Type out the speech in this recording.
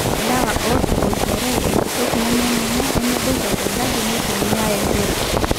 ilewa ootaboitare enkitok nemenenye nemeboita tenkaji neitumia empira